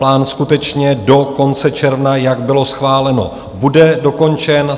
Plán skutečně do konce června, jak bylo schváleno, bude dokončen.